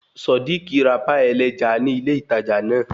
Sodiq ra páì ẹlẹ́ja ní ilé ìtajà náà